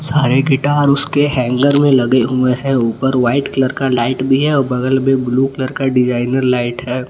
सारे गिटार उसके हैंगर में लगे हुए हैं ऊपर व्हाइट कलर का लाइट भी है अ बगल में ब्लू कलर का डिजाइनर लाइट है।